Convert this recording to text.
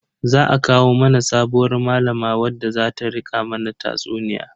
Za a kawo mana sabuwar malama wadda zata rika mana tatsuniya.